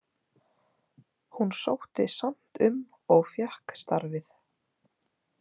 Hún sótti samt um og fékk starfið.